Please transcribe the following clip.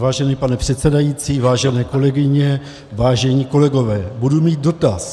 Vážený pane předsedající, vážené kolegyně, vážení kolegové, budu mít dotaz.